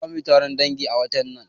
Zamuyi taron dangi a watan nan